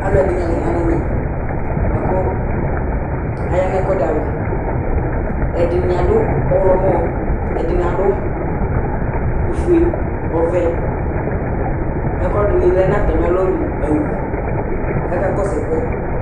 Alʋɛdìní la ya nu ɛmɛ bʋakʋ aya nʋ ɛkʋɛdi alɔ Ɛdiní adu ɔwlɔmɔ Ɛdiní adu ɔfʋe, ɔvɛ Ɛkʋɛdi du atami alɔ mʋ owu kʋ akakɔsu ɛkʋ yɛ